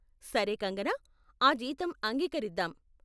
సరే కంగనా, ఆ జీతం అంగీకరిద్దాం.